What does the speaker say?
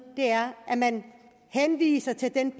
er at man henviser til den